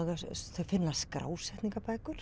þau finna